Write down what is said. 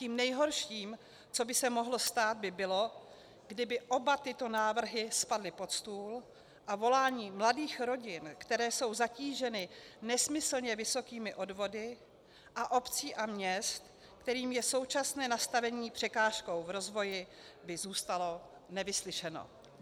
Tím nejhorším, co by se mohlo stát, by bylo, kdyby oba tyto návrhy spadly pod stůl a volání mladých rodin, které jsou zatíženy nesmyslně vysokými odvody, a obcí a měst, kterým je současné nastavení překážkou v rozvoji, by zůstalo nevyslyšeno.